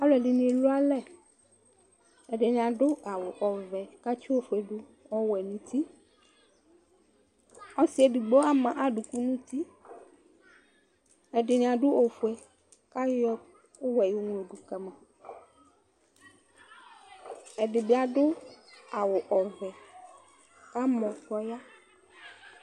Alʋɛdini elʋ alʋ ɛdini adʋ awʋ ɔvɛ kʋ atsi ofuedʋ ɔwɛ nʋ uti ɔsi edigbo ama adʋkʋ nʋ uti ɛdini adʋ ofue kʋ ayɔ ɛkʋwɛ yɔŋlo dʋ kama ɛdibi adʋ awʋ ɔvɛ kʋ amɔ kʋ ɔya